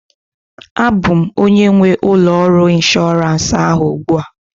A bụ m onye nwe ụlọ ọrụ inshọransị ahụ ugbu a